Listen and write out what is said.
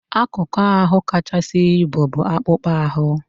Akụkụ ahụ kachasị ibu bụ akpụkpọ ahụ.